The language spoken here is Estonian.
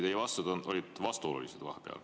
Teie vastused olid vahepeal vastuolulised.